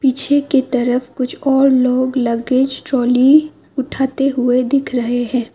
पीछे की तरफ कुछ और लोग लगेज ट्रॉली उठाते हुए दिख रहे है।